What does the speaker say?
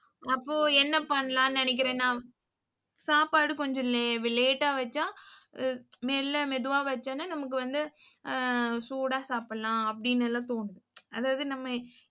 அப்போ, என்ன பண்ணலாம்னு நினைக்கிறேன்னா சாப்பாடு கொஞ்சம் la~ late ஆ வெச்சா அஹ் மெல்ல மெதுவா வெச்சோம்னா நமக்கு வந்து அஹ் சூடா சாப்பிடலாம் அப்படின்னு எல்லாம் தோணும், அதாவது நம்ம